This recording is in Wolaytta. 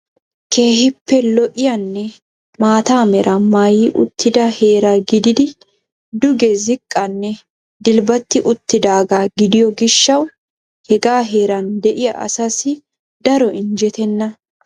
keehipe lo''iyanne maata mera maayyi uttida heera gidid duge ziqanne dilbbati uttidaaga gidiyo gishshaw hegaa heeraan de'iyaa asassi daroo injjetena.